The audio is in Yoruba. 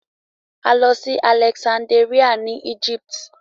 A lọ Alexanderia ni Egypt.